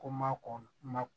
Ko ma kɔn